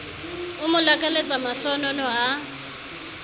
o mo lakaletsa mahlohonolo a